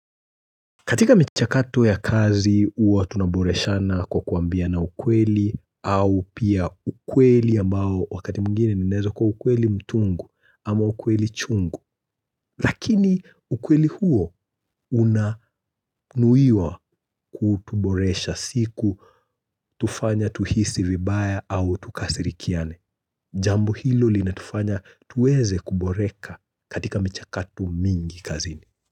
Katika mchakato ya kazi huwa tunaboreshana kwa kuambiana ukweli au pia ukweli ambao wakati mwingine unaeza kuwa ukweli mtungu ama ukweli chungu. Lakini ukweli huo unanuiwa kutuboresha siku tufanya tuhisi vibaya au tukasirikiane. Jambo hilo linatufanya tuweze kuboreka katika mchakato mingi kazini.